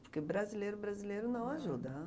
Porque brasileiro, brasileiro não ajuda.